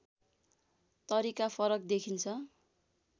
तरिका फरक देखिन्छ